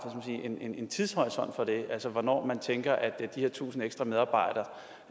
en tidshorisont for det hvornår tænker man at de her tusind ekstra medarbejdere